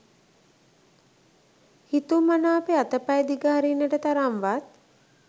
හිතුමනාපේ අතපය දිග හරින්නට තරම් වත්